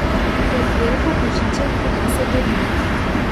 Pod jelko Božiček prinese darila.